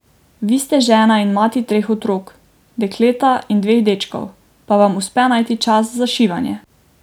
Vi ste žena in mati treh otrok, dekleta in dveh dečkov, pa vam uspe najti čas za šivanje.